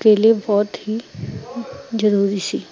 ਕੇ ਲੀਏ ਬਹੁਤ ਹੀਂ ਜਰੂਰੀ ਸੀ